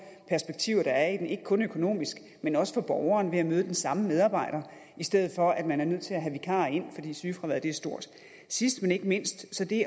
perspektiver der er i det ikke kun økonomisk men også for borgeren kan møde den samme medarbejder i stedet for at man er nødt til at vikarer ind fordi sygefraværet er stort sidst men ikke mindst er det